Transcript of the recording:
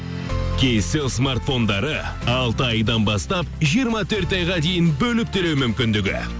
кейселл смартфондары алты айдан бастап жиырма төрт айға дейін бөліп төлеу мүмкіндігі